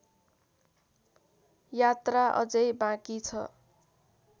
यात्रा अझै बाँकी छ